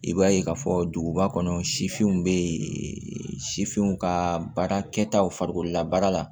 I b'a ye k'a fɔ duguba kɔnɔ sifinw bɛ yen sifinw ka baara kɛtaw farikolola baara la